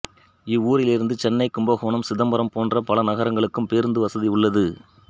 இவ்வூரிலிருந்து சென்னை கும்பகோணம் சிதம்பரம் போன்ற பல நகரங்களுக்கும் பேருந்து வசதி உள்ளது